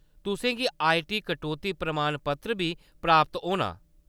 तुसें गी आईटी कटौती प्रमाणपत्र बी प्राप्त होना।